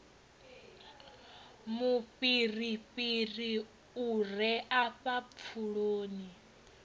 mufhirifhiri u re afha pfuloni